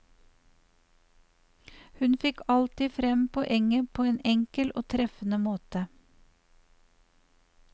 Hun fikk alltid frem poenget på en enkel og treffende måte.